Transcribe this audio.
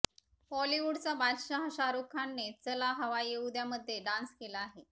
बॉलीवूडचा बादशहा शाहरूख खानने चला हवा येऊ द्यामध्ये डान्स केला आहे